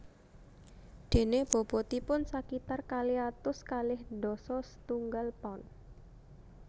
Déné bobotipun sakitar kalih atus kalih dasa setunggal pound